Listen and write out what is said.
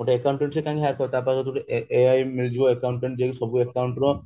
ଗୋଟେ accountant କାଇଁ higher କରିବ ତ ପାଖରେ ତ ଗୋଟେ ai ମିଳିଯିବ accountant ଯିଏ ସବୁ account ର